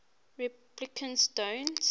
replicants don't